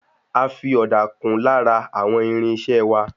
A fi ọ̀dà kún lára àwọn irinṣẹ́ẹ wá.